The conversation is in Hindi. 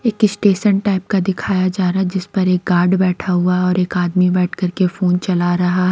एक स्टेशन टाइप का दिखाया जा रहा है जिस पर एक गार्ड बैठा हुआ है और एक आदमी बैठ कर के फोन चला रहा--